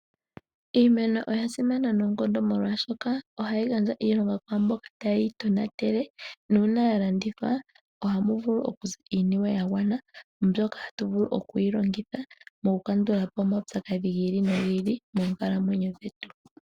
Iimeno oya simana noonkondo, molwaashoka, ohayi gandja iilonga kwaamboka tayeyi tonatele, nuuna yalandithwa, ohamu vulu okuza iiniwe yagwana, mbyoka hatu vulu okuyi longitha mokukandulapo omaupyakadhi gi ili nogi ili, moonkalamwenyo dhetu.